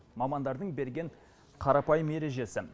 мамандардың берген қарапайым ережесі